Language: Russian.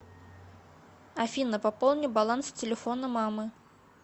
афина пополни баланс телефона мамы